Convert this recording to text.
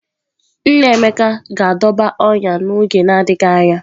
Nna Emeka ga-adọba ọnyà n’oge na-adịghị anya